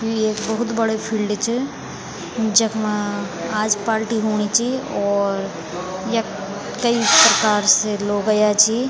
यु एक बहुत बडू फील्ड च जखमा आज पालटी हूणीं चि और यख कई प्रकार से लोग अयां छी।